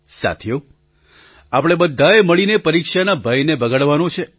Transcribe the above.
સાથીઓ આપણે બધાએ મળીને પરીક્ષાના ભયને ભગાડવાનો છે